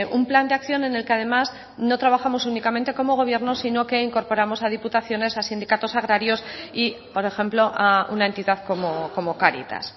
un plan de acción en el que además no trabajamos únicamente como gobierno sino que incorporamos a diputaciones a sindicatos agrarios y por ejemplo a una entidad como cáritas